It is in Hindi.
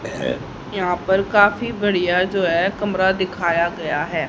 यहाँ पर काफी बड़िया जो है कमरा दिखाया गया है।